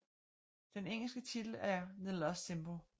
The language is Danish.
Den engelske titel er The Lost Symbol